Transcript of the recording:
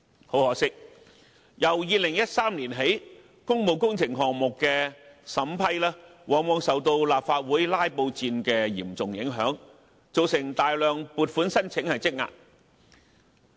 很可惜，由2013年起，工務工程項目的審批，往往受到立法會"拉布戰"的嚴重影響，造成大量撥款申請積壓。